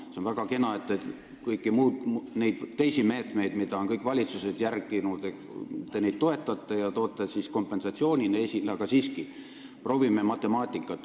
See on väga kena, et te kõiki neid teisi meetmeid, mida kõik valitsused on järginud, toetate ja toote kompensatsioonina esile, aga proovime seda matemaatiliselt vaadata.